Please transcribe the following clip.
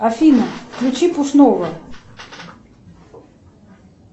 афина включи пушного